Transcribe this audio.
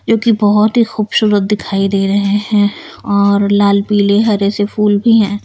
जो कि बहुत ही खूबसूरत दिखाई दे रहे हैं और लाल पीले हरे से फूल भी हैं।